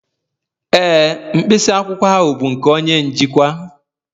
Ee, mkpịsị akwụkwọ ahụ bụ nke onye njikwa